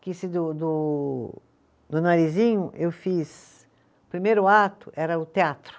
Que esse do do, do Narizinho, eu fiz, o primeiro ato era o teatro.